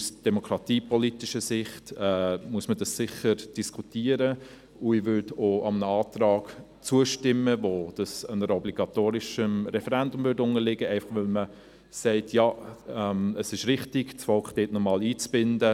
Aus demokratiepolitischer Sicht muss man das sicher diskutieren, und ich würde auch einem Antrag zustimmen, der dies einem obligatorischen Referendum unterstellen würde, einfach, weil man sagt: Es ist richtig, das Volk in diesen Entscheid noch einmal einzubinden.